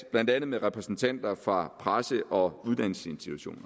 blandt andet repræsentanter fra presse og uddannelsesinstitutioner